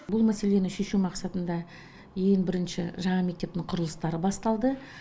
бұл мәселені шешу мақсатында ең бірінші жаңа мектептің құрылыстары басталды